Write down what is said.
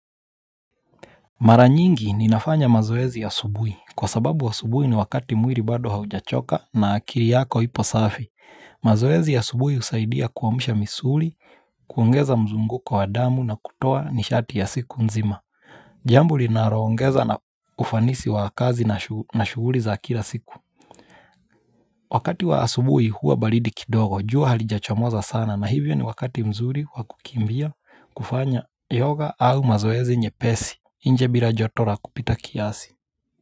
Mara nyingi ni nafanya mazoezi ya asubui. Kwa sababu asubuhi ni wakati muiri bado haujachoka na akiri yako hipo safi. Mazoezi ya asubui husaidia kuwamisha misuli, kuongeza mzunguko wa damu na kutoa nishati ya siku nzima. Jambo linaongeza na ufanisi wa kazi na shuguli za kila siku. Wakati wa asubuhi huwa baridi kidogo. Jua halijachomoza sana na hivyo ni wakati mzuri wakukimbia kufanya yoga au mazoezi nyepesi. Inje bila joto la kupita kiasi.